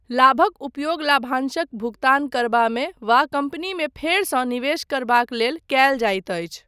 लाभक उपयोग लाभांशक भुगतान करबामे वा कम्पनीमे फेरसँ निवेश करबाक लेल कयल जाइत अछि।